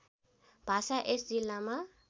भाषा यस जिल्लामा